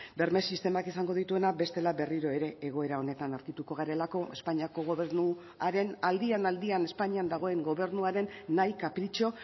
berme sistemak izango dituena bestela berriro ere egoera honetan aurkituko garelako espainiako gobernuaren aldian aldian espainian dagoen gobernuaren nahi kapritxo